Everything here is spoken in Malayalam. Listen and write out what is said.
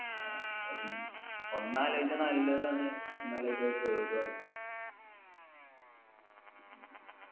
ആ ഒന്നാലോചിച്ചാ നല്ലതാണ് ഒന്നാലോചിച്ച ആണ്